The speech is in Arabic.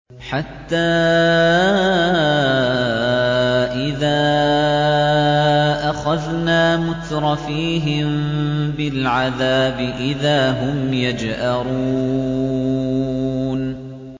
حَتَّىٰ إِذَا أَخَذْنَا مُتْرَفِيهِم بِالْعَذَابِ إِذَا هُمْ يَجْأَرُونَ